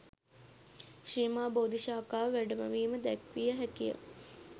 ශ්‍රී මහා බෝධි ශාඛාව වැඩමවීම දැක්විය හැකිය.